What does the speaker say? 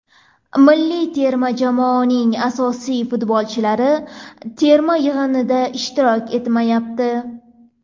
Milliy terma jamoaning asosiy futbolchilari terma yig‘inida ishtirok etmayapti.